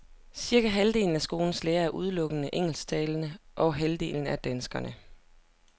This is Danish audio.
Cirka halvdelen af skolens lærere er udelukkende engelsktalende, og halvdelen er danskere.